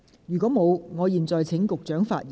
如果沒有，我現在請局長發言。